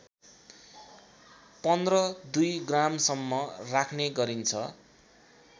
१५ २ ग्रामसम्म राख्ने गरिन्छ